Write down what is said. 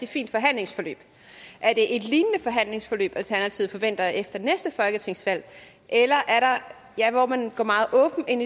fint forhandlingsforløb er det et lignende forhandlingsforløb alternativet forventer efter næste folketingsvalg hvor man går meget åbent ind